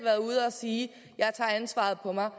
sige jeg tager ansvaret på mig